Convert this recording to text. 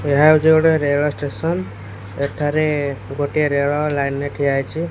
ଏହା ହଉଚୁ ଗୋଟେ ରେଳ ଷ୍ଟେସନ ଏଠାରେ ଗୋଟିଏ ରେଳ ଲାଇନ ରେ ଠିଆ ହେଇଚି।